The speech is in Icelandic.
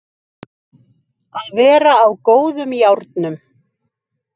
Að vera á góðum járnum